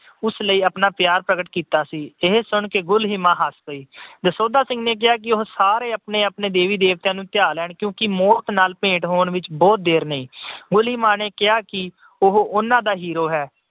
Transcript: ਉਸ ਲਈ ਆਪਣਾ ਪਿਆਰ ਪ੍ਰਗਟ ਕੀਤਾ ਸੀ। ਇਹ ਸੁਣ ਕੇ ਗੁਲੀਮਾ ਹੱਸ ਪਈ। ਦਸੌਂਧਾ ਸਿੰਘ ਨੇ ਕਿਹਾ ਕਿ ਸਾਰੇ ਆਪਣੇ-ਆਪਣੇ ਦੇਵੀ-ਦੇਵਤਿਆਂ ਨੂੰ ਧਿਆ ਲੈਣ ਕਿਉਂਕਿ ਮੌਤ ਨਾਲ ਭੇਟ ਹੋਣ ਵਿੱਚ ਬਹੁਤ ਦੇਰ ਨਹੀਂ। ਗੁਲੀਮਾ ਨੇ ਕਿਹਾ ਕਿ ਉਹ ਉਹਨਾਂ ਦਾ hero ਹੈ।